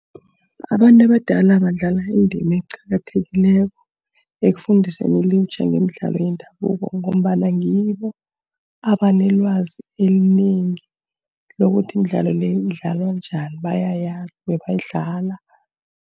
Abantu abadala badlala indima eqakathekileko ekufundiseni ilutjha ngemidlalo yendabuko, ngombana ngibo abanelwazi elinengi lokuthi imidlalo le idlalwa njani. Bayayazi bebayidlala.